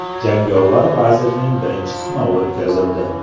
Jangovar lazerning birinchi sinovi o‘tkazildi.